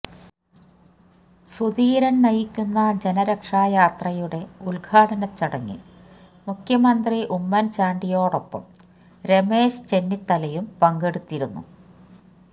സുധീരൻ നയിക്കുന്ന ജനരക്ഷായാത്രയുടെ ഉദ്ഘാടന ചടങ്ങിൽ മുഖ്യമന്ത്രി ഉമ്മൻ ചാണ്ടിയോടൊപ്പം രമേശ് ചെന്നിത്തലയും പങ്കടെുത്തിരുന്നു